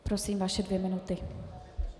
Prosím, vaše dvě minuty.